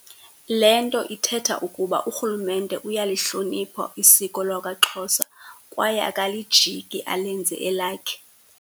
Le nto ithetha ukuba urhulumente uyalihlonipha isiko lwakwaXhosa kwaye akalijiki alenze elakhe.